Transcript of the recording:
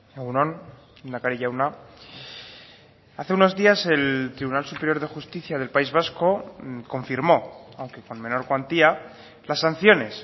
egun on lehendakari jauna hace unos días el tribunal superior de justicia del país vasco confirmó aunque con menor cuantía las sanciones